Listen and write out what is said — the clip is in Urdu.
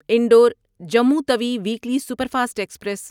Indore Jammu Tawi weekly superfast express